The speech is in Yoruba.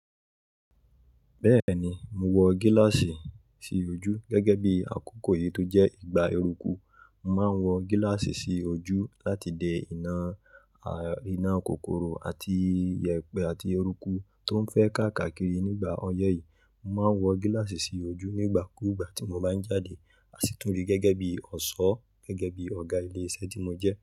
Bẹ́ẹ̀ni, mo wọ gílàsì sí ojú gẹ́gẹ́ bí àkókò yìí tó jẹ́ ìgbà eruku. Mo máa ń wọ gílàsì sí ojú láti de ìnà ìnàkòkòrò àti iyẹ̀pẹ̀ àti ẹrúkú tó fẹ́ kà kàkirí nígbà ọyẹ́ yìí. Mo máa ń wọ gílàsì sí ojú nígbà kú ìgbà tí mo bá ń jáde, à sì tún rí gẹ́gẹ́ bí ọ̀ṣọ́, gẹ́gẹ́ bí Ọ̀gá ilé iṣẹ́ tí mo jẹ́.